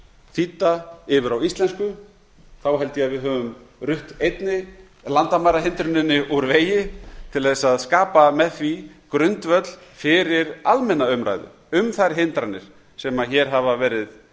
þýdda yfir á íslensku held ég að við höfum rutt einnig landamærahindruninni úr vegi til þess að skapa með því grundvöll fyrir almenna umræðu um þær hindranir sem hér hafa verið